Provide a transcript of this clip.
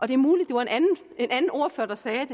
det er muligt det var en anden ordfører der sagde